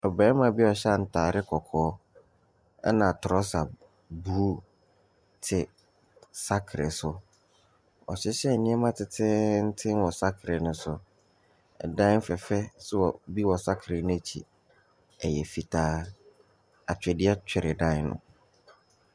Ɔbarima bi a ɔhyɛ ataade kɔkɔɔ na trɔsa blue te saekere so. Wahyehyɛ nneɛma tententen wɔ saekere ne so. Adan fɛfɛɛfɛ so wɔ bi wɔ saekere n’akyi, ɛyɛ fitaa. Atwedeɛ twere dan no.